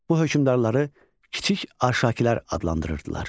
Bu hökmdarları kiçik Arşakilər adlandırırdılar.